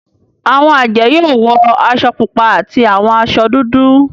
Awọn ajẹ yoo wọ aṣọ pupa ati awọn aṣọ dudu.